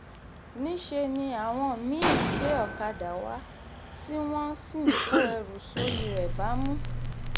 níṣẹ́ ni àwọn mí-ín gbé ọ̀kadà wá tí wọ́n sì kó ẹrù sórí rẹ̀ bámú